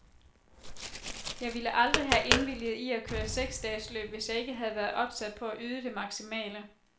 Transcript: Jeg ville aldrig have indvilget i at køre seksdagesløb, hvis jeg ikke havde været opsat på at yde det maksimale.